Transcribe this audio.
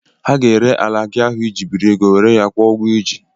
Ha ga-ere ala gị ahụ I ji biri ego, were ya kwụọ ụgwọ I ji.